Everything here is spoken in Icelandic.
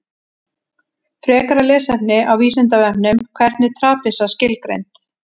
Frekara lesefni á Vísindavefnum: Hvernig er trapisa skilgreind?